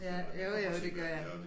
Ja jo jo det gør jeg